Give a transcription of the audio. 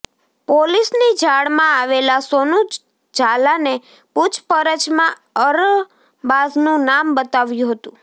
પોલિસની જાળમાં આવેલા સોનુ જાલાને પૂછપરછમાં અરબાઝનું નામ બતાવ્યુ હતુ